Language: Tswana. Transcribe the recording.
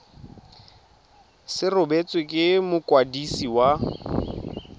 se rebotswe ke mokwadisi wa